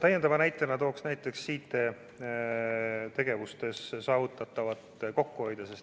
Täiendava näitena tooksin tegevustes saavutatava kokkuhoiu.